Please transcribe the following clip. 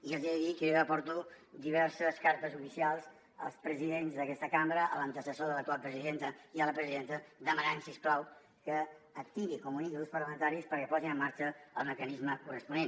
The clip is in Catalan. i els he de dir que jo ja porto diverses cartes oficials als presidents d’aquesta cambra a l’antecessor de l’actual presidenta i a la presidenta demanant si us plau que activi comuniqui els grups parlamentaris perquè posin en marxa el mecanisme corresponent